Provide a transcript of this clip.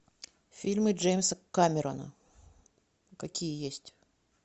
фильмы джеймса камерона какие есть